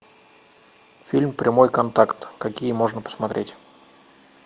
фильм прямой контакт какие можно посмотреть